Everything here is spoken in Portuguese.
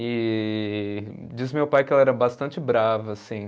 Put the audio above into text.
E diz meu pai que ela era bastante brava assim